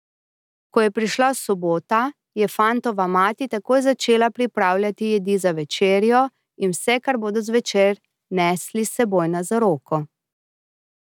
Ko je prišla sobota, je fantova mati takoj začela pripravljati jedi za večerjo, in vse kar bodo zvečer nesli s seboj na zaroko.